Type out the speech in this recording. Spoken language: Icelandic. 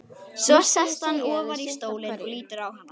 Svo sest hann ofar í stólinn og lítur á hana.